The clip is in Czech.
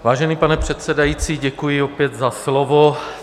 Vážený pane předsedající, děkuji opět za slovo.